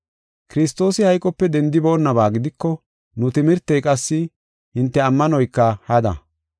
Kiristoosi hayqope dendiboonaba gidiko nu timirtey qassi hinte ammanoyka hada.